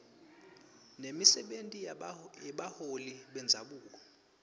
nemisebenti yebaholi bendzabuko